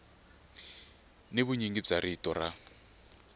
ni vunyingi bya rito ra